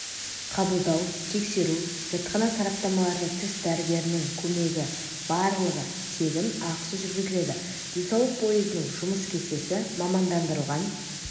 қабылдау тексеру зертхана сараптамалары тіс дәрігерінің көмегі барлығы тегін ақысыз жүргізіледі денсаулық поездының жұмыс кестесі мамандандырылған